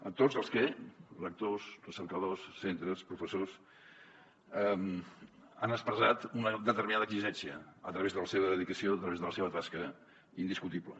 a tots els que lectors recercadors centres professors han expressat una determinada exigència a través de la seva dedicació a través de la seva tasca indiscutible